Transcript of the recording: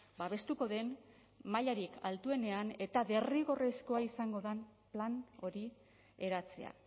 babestuko den mailarik altuenean eta derrigorrezkoa izango den plan hori eratzea